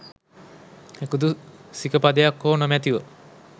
එකදු සික පදයක් හෝ නොමැතිව